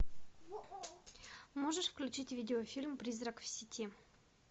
можешь включить видеофильм призрак в сети